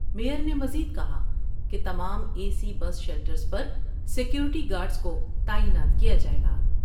Mayor نے مزید کہا کہ تمام اے سی بس شیلٹرس پر سکیورٹی گارڈس کو تعینات کیا جائے گا ۔